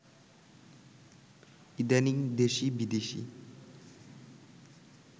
ইদানীং দেশি-বিদেশি